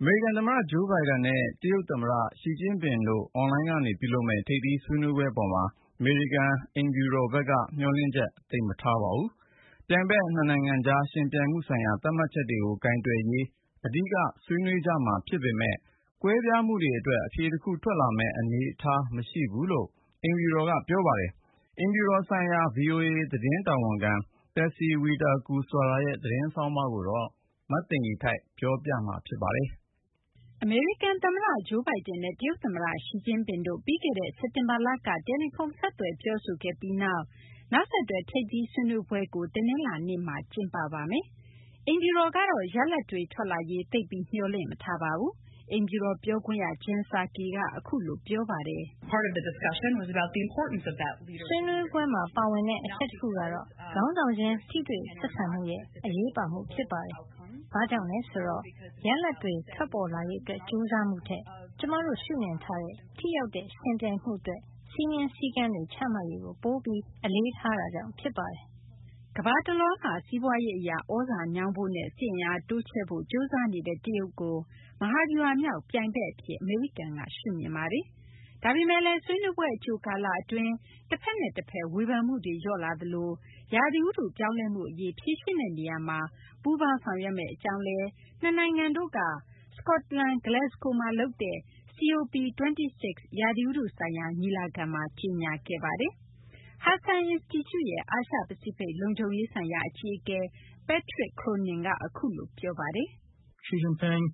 အမေရိကန်သမ္မတ Joe Biden နဲ့ တရုတ်သမ္မတ Xi Jinping တို့ အွန်လိုင်းကနေ ပြုလုပ်မယ့် ထိပ်သီးဆွေးနွေးပွဲ အပေါ်မှာ အမေရိကန် သမ္မတအိမ်ဖြူတော်ဘက်က မျှော်လင့်ချက် သိပ်မထားပါဘူး။ ပြိုင်ဘက် နှစ်နိုင်ငံကြား ယှဉ်ပြိုင်မှုဆိုင်ရာ သတ်မှတ်ချက်တွေကို ကိုင်တွယ်ရေး အဓိက ဆွေးနွေးကြမှာ ဖြစ်ပေမယ့်လည်း ကွဲပြားမှုတွေအတွက် အဖြေတခု ထွက်လာမယ့် အနေအထား မရှိဘူးလို့လည်း အမေရိကန် သမ္မတအိမ်ဖြူတော်က ပြောပါတယ်။ အိမ်ဖြူတော်ဆိုင်ရာ ဗွီအိုအေ သတင်းတာဝန်ခံ Patsy Widakuswara ရဲ့ သတင်းဆောင်းပါးကို မသိင်္ဂီထိုက် ပြောပြပါမယ်။ အမေရိကန်သမ္မတ Joe Biden နဲ့ တရုတ်သမ္မတ Xi Jinping တို့ ပြီးခဲ့တဲ့ စက်တင်ဘာလက တယ်လီဖုန်း ဆက်သွယ်ပြောဆိုခဲ့ပြီးနောက် အခု နောက်ဆက်တွဲ ထိပ်သီးဆွေးနွေးမှုကို တနင်္လာနေ့မှာ ကျင်းပပါမယ်။ အိမ်ဖြူတော်ဘက်ကတော့ ရလဒ်အပေါ် သိပ်ပြီး မျှော်လင့်မထားပါဘူး။ အိမ်ဖြူတော်ပြောခွင့်ရ Jen Psaki က အခုလို ပြောပါတယ်။ “ဆွေးနွေးပွဲမှာ ပါဝင်တဲ့ အချက်တခုကတော့ ခေါင်းဆောင်ချင်း ထိတွေ့ဆက်ဆံမှုရဲ့ အရေးပါမှု ဖြစ်ပါတယ်။ ဘာကြောင့်လဲဆိုတော့ ရလဒ်တွေ ထွက်ပေါ်လာရေးအတွက် ကြိုးစားမှုထက် ကျမတို့ ရှုမြင်ထားတဲ့ ထိရောက်တဲ့ ယှဉ်ပြိုင်မှုအတွက် စည်းမျဉ်း စည်းကမ်းတွေ ချမှတ်ရေးကို ပိုပြီး အလေးထားတာကြောင့် ဖြစ်ပါတယ်။” ကမ္ဘာတလွှားမှာ စီးပွားရေးအရ သြဇာညောင်းဖို့နဲ့ စစ်အင်အားတိုးချဲ့ဖို့ ကြိုးစားနေတဲ့ တရုတ်ကို မဟာဗျူဟာမြောက် ပြိုင်ဘက်အဖြစ် အမေရိကန်က ရှုမြင်ပါတယ်။ ဒါပေမယ့်လည်း ဆွေးနွေးပွဲ အကြိုကာလအတွင်း တဖက်နဲ့တဖက် ဝေဖန်မှုတွေ လျော့လာသလို ရာသီဥတုပြောင်းလဲမှုအရေး ဖြေရှင်းတဲ့နေရာမှာ ပူးပေါင်းဆောင်ရွက်မယ့်အကြောင်း နှစ်နိုင်ငံတို့က စကော့တလန် Glasgow မှာလုပ်တဲ့ COP26 ရာသီဥတုဆိုင်ရာ ညီလာခံမှာ ကြေညာခဲ့ပါတယ်။ Hudson အင်စတီကျုရဲ့ အာရှ-ပစိဖိတ် လုံခြုံရေးဆိုင်ရာ အကြီးအကဲ Patrick Cronin က အခုလို ပြောပါတယ်။ “ယှဉ်ပြိုင်မှု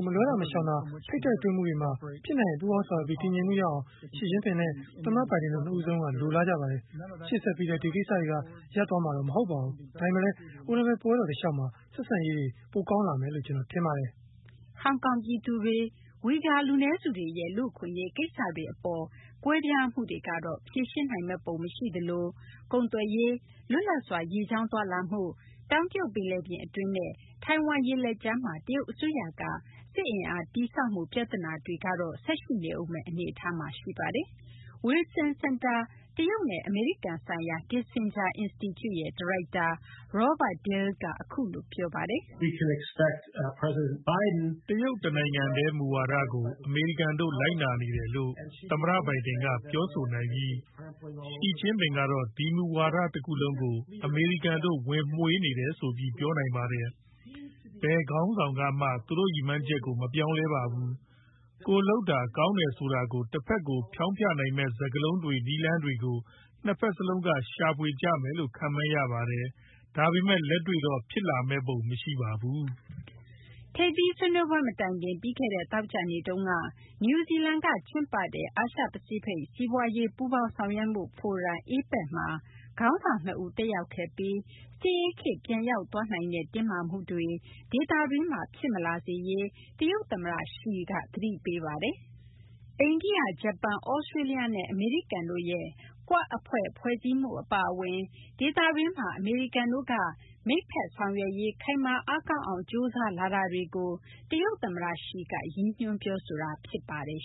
၊ မလွှဲသာ မရှောင်သာ ထိပ်တိုက်တွေ့မှုတွေမှာ ဖြစ်နိုင်ရင် ပူးပေါင်းဆောင်ရွက်ပြီး တည်ငြိမ်မှုရအောင် Xi Jinping နဲ့ သမ္မတ Biden နှစ်ဦးစလုံးက လိုလားကြပါတယ်။ ရှေ့ဆက်ပြီးလည်း ဒီကိစ္စတွေက ရပ်တန့်သွားမှာ မဟုတ်ပါဘူး။ ဒါပေမယ့်လည်း အိုလံပစ်ပွဲတော် တလျှောက်မှာ ဆက်ဆံရေး ပိုကောင်းလာမယ်လို့ ကျနော်ထင်ပါတယ်။” ဟောင်ကောင်ပြည်သူတွေနဲ့ ဝီဂါ လူနည်းစုတွေရဲ့ လူ့အခွင့်အရေး ကိစ္စတွေအပေါ် ကွဲပြားမှုတွေကတော့ ဖြေရှင်းနိုင်မယ့်ပုံ မရှိသလို ကုန်သွယ်ရေး၊ လွတ်လပ်စွာ ရေကြောင်းသွားလာမှု၊ တောင်တရုတ်ပင်လယ်ပြင် အတွင်းနဲ့ ထိုင်ဝမ်ရေလက်ကြားမှာ တရုတ်အစိုးရက စစ်အင်အားတည်ဆောက်မှု ပြဿနာတွေကတော့ ဆက်ရှိနေဦးမယ့် အနေအထားမှာ ရှိပါတယ်။ Wilson စင်တာ တရုတ်နဲ့ အမေရိကန်ဆိုင်ရာ Kissinger အင်စတီကျု ဒါရိုက်တာ Robert Daly က အခုလို ပြောပါတယ်။ “တရုတ်တနိုင်ငံတည်း မူဝါဒကို အမေရိကန်တို့ လိုက်နာနေတယ်လို့ သမ္မတ Biden က ပြောဆိုနိုင်ပြီး Xi Jinping ကတော့ ဒီမူဝါဒ တခုလုံးကို အမေရိကန်တို့ ဝင်မွှေနေတယ်ဆိုပြီး ပြောနိုင်ပါတယ်။ ဘယ်ခေါင်းဆောင်ကမှ သူတို့ရည်မှန်းချက်ကို မပြောင်းလဲပါဘူး။ ကိုယ်လုပ်တာ ကောင်းတယ်ဆိုတာကို တဖက်ကို ဖျောင်းဖျနိုင်မယ့် စကားလုံးတွေ၊ နည်းလမ်းတွေကို နှစ်ဖက်စလုံးက ရှာဖွေကြမယ်လို့ ခန့်မှန်းရပါတယ်။ ဒါပေမယ့် လက်တွေ့တော့ ဖြစ်လာမယ့်ပုံ မရှိပါဘူး။” ထိပ်သီးဆွေးနွေးပွဲ မတိုင်ခင် ပြီးခဲ့တဲ့ သောကြာနေ့တုန်းက နယူးဇီလန်က ကျင်းပတဲ့ အာရှ-ပစိဖိတ် စီးပွားရေး ပူးပေါင်းဆောင်ရွက်မှုဖိုရမ် APEC မှာ ခေါင်းဆောင်နှစ်ဦး တက်ရောက်ခဲ့ပြီး စစ်အေးခေတ် ပြန်ရောက်သွားနိုင်တဲ့ တင်းမာမှုတွေ ဒေသတွင်းမှာ ဖြစ်မလာစေရေး တရုတ်သမ္မတ Xi က သတိပေးပါတယ်။ အိန္ဒိယ၊ ဂျပန်၊ သြစတြေးလျနဲ့ အမေရိကန်တို့ရဲ့ Quad အဖွဲ့ ဖွဲ့စည်းမှု အပါအဝင် ဒေသတွင်းမှာ အမေရိကန်တို့က မိတ်ဘက်ဆောင်ရွက်ရေး ခိုင်မာ အားကောင်းအောင် ကြိုးစားလာတာတွေကို တရုတ်သမ္မတ Xi က ရည်ညွှန်း ပြောဆိုခဲ့တာ ဖြစ်ပါတယ်